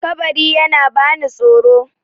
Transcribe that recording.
kabari yana bani tsoro